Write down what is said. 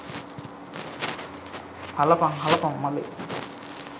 හලපං හලපං මලේ